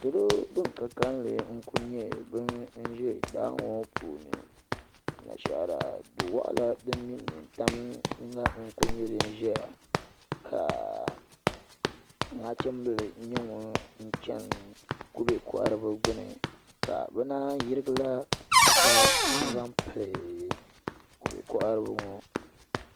Salo bin ka kanli n kuli nyɛ bin bɛ daa ŋo puuni Anashaara du waɣala din kuli mɛnmɛ tam la n ʒɛya ka nachimbili nyɛ ŋun chɛni kubɛ koharibi gbuni ka bi naan yirigila tuuta n zaŋ pili kubɛ koharibi ŋo